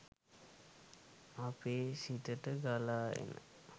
අපේ සිතට ගලා එන